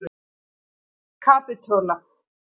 Kapitola